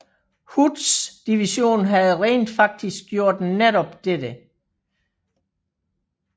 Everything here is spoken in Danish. Hoods division havde rent faktisk gjort netop dette